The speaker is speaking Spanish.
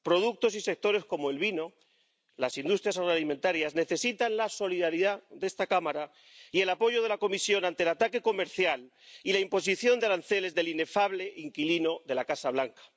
Productos y sectores como el vino, las industrias agroalimentarias, necesitan la solidaridad de esta Cámara y el apoyo de la Comisión ante el ataque comercial y la imposición de aranceles del inefable inquilino de la Casa Blanca.